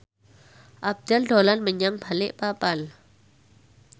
Abdel dolan menyang Balikpapan